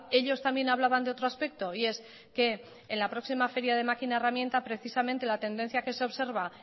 ellos también hablaban de otro aspecto y es que en la próxima feria de máquina de herramienta precisamente la tendencia que se observa